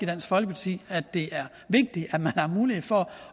dansk folkeparti er det er vigtigt at man har mulighed for